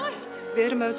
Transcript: við erum auðvitað